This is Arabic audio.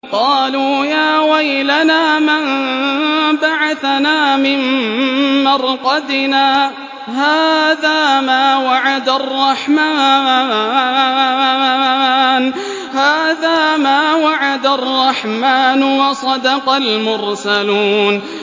قَالُوا يَا وَيْلَنَا مَن بَعَثَنَا مِن مَّرْقَدِنَا ۜۗ هَٰذَا مَا وَعَدَ الرَّحْمَٰنُ وَصَدَقَ الْمُرْسَلُونَ